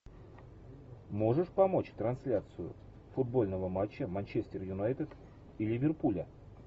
можешь помочь трансляцию футбольного матча манчестер юнайтед и ливерпуля